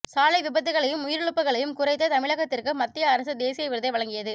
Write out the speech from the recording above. சாலை விபத்துக்களையும் உயிரிழப்புக்களையும் குறைத்த தமிழகத்திற்கு மத்திய அரசு தேசிய விருதை வழங்கியது